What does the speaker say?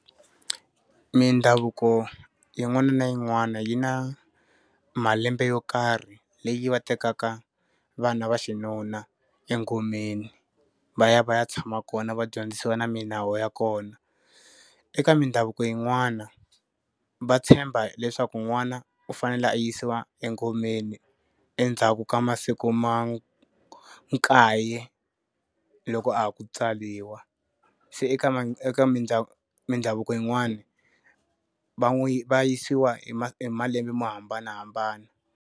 Mindhavuko yin'wana na yin'wana yi na malembe yo karhi leyi va tekaka vana va xinuna engomeni va ya va ya tshama kona va dyondzisiwa na milawu ya kona. Eka mindhavuko yin'wani, va tshemba leswaku n'wana u fanele a yisiwa engomeni endzhaku ka masiku ma kaye loko a ha ku tswariwa. Se eka mindhavuko yin'wani va n'wi yi va yisiwa hi malembe mo hambanahambana.